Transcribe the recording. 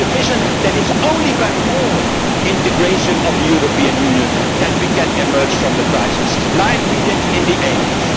Create the vision that it is only by more integration of the European Union that we can emerge from the crisis, like we did in the 80s.